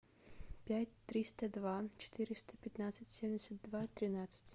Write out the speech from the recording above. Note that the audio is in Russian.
пять триста два четыреста пятнадцать семьдесят два тринадцать